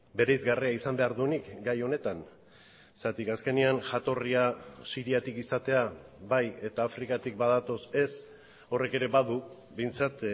bereizgarria izan behar duenik gai honetan zergatik azkenean jatorria siriatik izatea bai eta afrikatik badatoz ez horrek ere badu behintzat